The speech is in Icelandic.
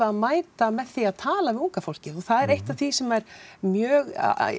að mæta því að tala við unga fólkið og það er eitt af því sem er mjög